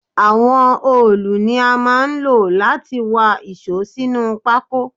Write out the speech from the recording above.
Àwọn òòlù ni a máa ń lò láti wá íṣo sínú pako